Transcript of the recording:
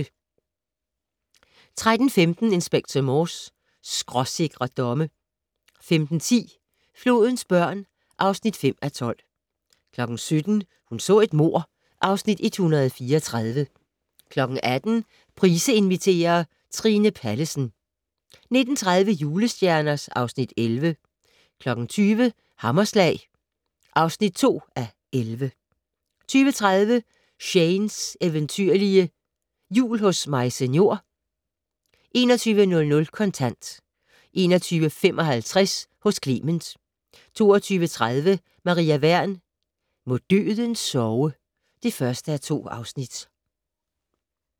13:15: Inspector Morse: Skråsikre domme 15:10: Flodens børn (5:12) 17:00: Hun så et mord (Afs. 134) 18:00: Price inviterer - Trine Pallesen 19:30: Julestjerner (Afs. 11) 20:00: Hammerslag (2:11) 20:30: Shanes eventyrlige Jul hos Maise Njor 21:00: Kontant 21:55: Hos Clement 22:30: Maria Wern: Må døden sove (1:2)